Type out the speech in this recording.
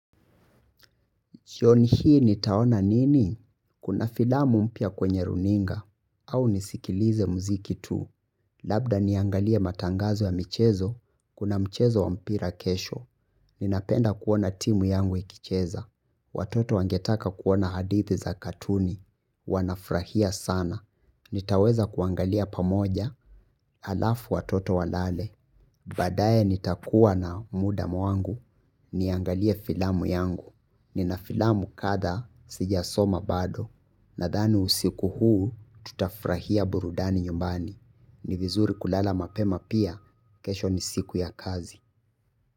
Shioni hii nitaona nini? Kuna filamu mpya kwenye runinga. Au nisikilize mziki tu. Labda niangalie matangazo ya michezo. Kuna mchezo wa mpira kesho. Ninapenda kuona timu yangu ikicheza. Watoto wangetaka kuona hadithi za katuni. Wanafrahia sana. Nitaweza kuangalia pamoja. Alafu watoto walale. Baadaye nitakuwa na muda mwangu, niangalie filamu yangu. Nina filamu kada, sija soma bado. Nadhani usiku huu, tutafrahia burudani nyumbani, ni vizuri kulala mapema pia, kesho ni siku ya kazi.